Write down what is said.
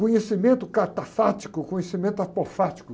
Conhecimento catafático, conhecimento apofático.